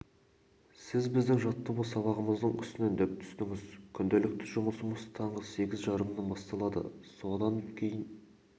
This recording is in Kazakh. сіз біздің жаттығу сабағымыздың үстінен дөп түстіңіз күнделікті жұмысымыз таңғы сағат сегіз жарымнан басталады содан дейін